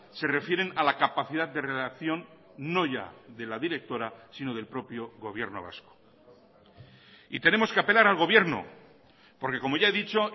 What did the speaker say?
se refieren a la capacidad de relación no ya de la directora sino del propio gobierno vasco y tenemos que apelar al gobierno porque como ya he dicho